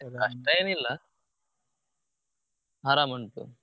ಏನ್ ಇಲ್ಲ ಆರಂ ಉಂಟು.